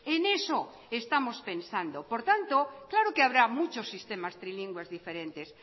en eso estamos pensando por tanto claro que habrá muchos sistemas trilingües diferentes